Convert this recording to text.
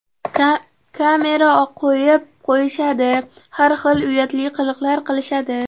Kamera qo‘yib qo‘yishadi, har xil uyatli qiliqlar qilishadi.